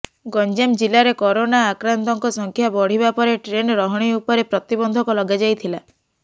ଗଞ୍ଜାମ ଜିଲ୍ଲାରେ କରୋନା ଆକ୍ରାନ୍ତଙ୍କ ସଂଖ୍ୟା ବଢ଼ିବା ପରେ ଟ୍ରେନ୍ ରହଣୀ ଉପରେ ପ୍ରତିବନ୍ଧକ ଲଗାଯାଇଥିଲା